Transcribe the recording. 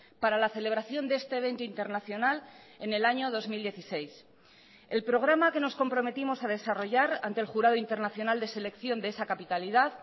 para la celebración de este evento internacional en el año dos mil dieciséis el programa que nos comprometimos a desarrollar ante el jurado internacional de selección de esa capitalidad